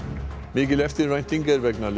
mikil eftirvænting er vegna